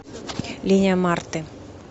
линия марты